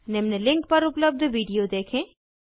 निम्न लिंक पर उपलब्ध वीडिओ देखें